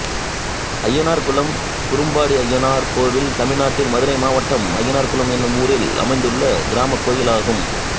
அய்யனார்குளம் குரும்பாடி அய்யனார் கோயில் தமிழ்நாட்டில் மதுரை மாவட்டம் அய்யனார்குளம் என்னும் ஊரில் அமைந்துள்ள கிராமக் கோயிலாகும்